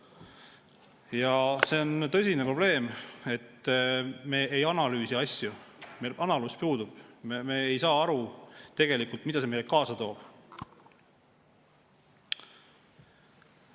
Ja see on tõsine probleem, et me ei analüüsi asju, meil analüüs puudub, me ei saa aru tegelikult, mida see meile kaasa toob.